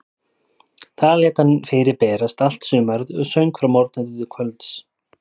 Þar lét hann fyrir berast allt sumarið og söng frá morgni til kvölds.